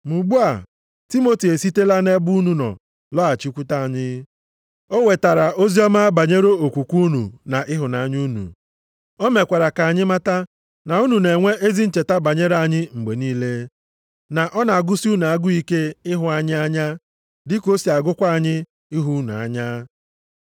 Ma ugbu a, Timoti esitela nʼebe unu nọ lọghachikwute anyị. O wetara oziọma banyere okwukwe unu na ịhụnanya unu. O mekwara ka anyị mata na unu na-enwe ezi ncheta banyere anyị mgbe niile, na ọ na-agụsị unu agụụ ike ịhụ anyị anya, dị ka o si agụkwa anyị ịhụ unu anya.